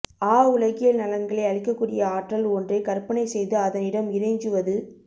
ஆ உலகியல் நலன்களை அளிக்கக்கூடிய ஆற்றல் ஒன்றை கற்பனைசெய்து அதனிடம் இறைஞ்சுவது